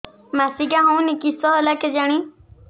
ମାସିକା ହଉନି କିଶ ହେଲା କେଜାଣି